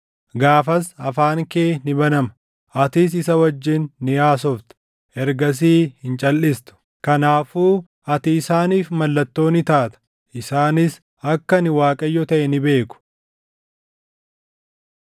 Gaafas afaan kee ni banama; atis isa wajjin ni haasofta; ergasii hin calʼistu. Kanaafuu ati isaaniif mallattoo ni taata; isaanis akka ani Waaqayyo taʼe ni beeku.”